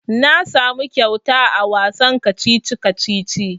Na samu kyauta a wasan kacici-kacici.